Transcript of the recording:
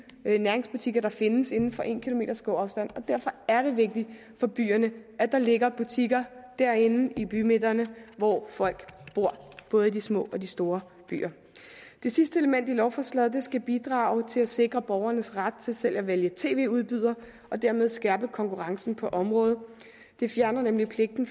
næringsbutikker der findes inden for en kilometers gåafstand derfor er det vigtigt for byerne at der ligger butikker derinde i bymidterne hvor folk bor både i de små og de store byer det sidste element i lovforslaget skal bidrage til at sikre borgernes ret til selv at vælge tv udbyder og dermed skærpe konkurrencen på området det fjerner nemlig pligten